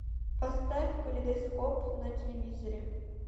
поставь калейдоскоп на телевизоре